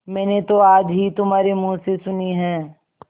मैंने तो आज ही तुम्हारे मुँह से सुनी है